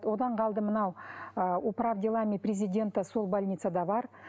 одан қалды мынау ы управ делами президента сол больницада бар